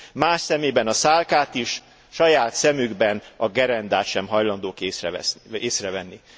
Más szemében a szálkát is, saját szemükben a gerendát sem hajlandók észrevenni.